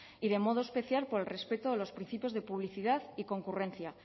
y de modo especial por el respeto a los principios de publicidad y concurrencia